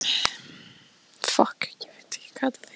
Að lokum veslaðist hún upp og dó.